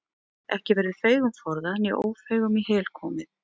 Ekki verður feigum forðað né ófeigum í hel komið.